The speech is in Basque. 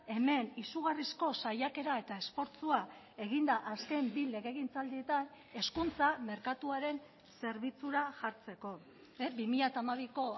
hemen izugarrizko saiakera eta esfortzua egin da azken bi legegintzaldietan hezkuntza merkatuaren zerbitzura jartzeko bi mila hamabiko